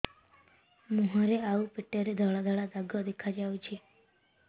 ମୁହଁରେ ଆଉ ପେଟରେ ଧଳା ଧଳା ଦାଗ ଦେଖାଯାଉଛି